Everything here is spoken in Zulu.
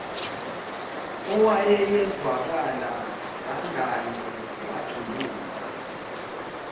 owayezwakala sangane wajuluka